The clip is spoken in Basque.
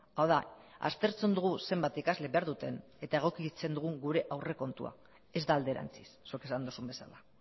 hau da aztertzen dugu zenbat ikasle behar duten eta egokitzen dugu gure aurrekontua ez da alderantziz zuk esan duzun bezala